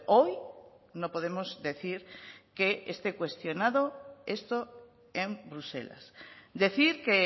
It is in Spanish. hoy no podemos decir que esté cuestionado esto en bruselas decir que